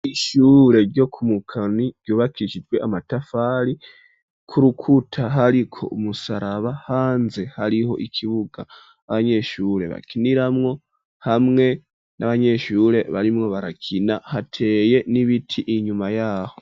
Ishure ryo ku Mukoni ryubakishijwe amatafari ku rukuta hariko umusaraba hanze hariho ikibuga abanyeshure bakiniramwo hamwe n'abanyeshure barimwo barakina hateye n'ibiti inyuma yaho.